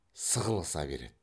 сығылыса береді